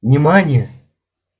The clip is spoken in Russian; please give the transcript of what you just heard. внимание